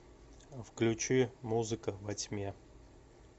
включи музыка во тьме